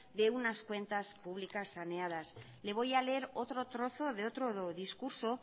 de unas cuentas públicas saneadas le voy a leer otro trozo de otro discurso